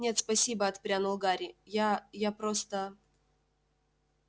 нет спасибо отпрянул гарри я я просто